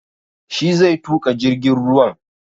Shi zai tuƙa jirgin ruwan